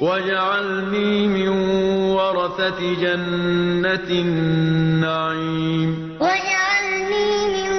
وَاجْعَلْنِي مِن وَرَثَةِ جَنَّةِ النَّعِيمِ وَاجْعَلْنِي مِن